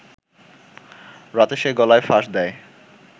রাতে সে গলায় ফাঁস দেয়